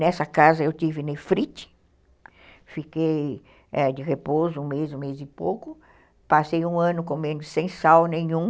Nessa casa eu tive nefrite, fiquei de repouso um mês, um mês e pouco, passei um ano comendo sem sal nenhum,